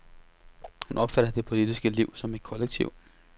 Hun opfatter det politiske liv som et kollektiv.